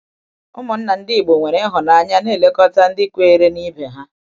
Ụmụnna ndị Igbo nwere ịhụnanya na-elekọta ndị kweere n'ibe ha.